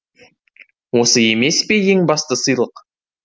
осы емес пе ең басты сыйлық